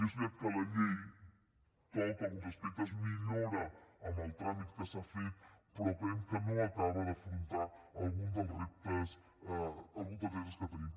i és veritat que la llei toca alguns aspectes millora amb el tràmit que s’ha fet però creiem que no acaba d’afrontar algun dels reptes que tenim